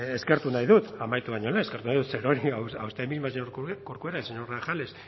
eskertu nahi dut amaitu baino lehen eskertu nahi dut zerorri a usted misma señora corcuera al señor grajales